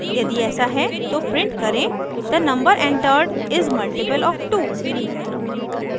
यदि ऐसा है तो प्रिंट करें the number entered is a multiple of 2